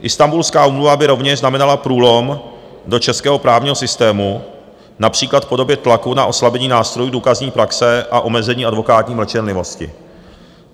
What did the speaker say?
Istanbulská úmluva by rovněž znamenala průlom do českého právního systému, například v podobě tlaku na oslabení nástrojů důkazní praxe a omezení advokátní mlčenlivosti.